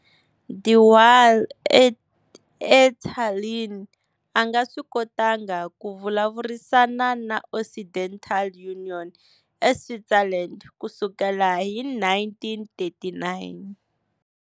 De Wahl, eTallinn, a nga swi kotanga ku vulavurisana ni Occidental Union eSwitzerland ku sukela hi 1939.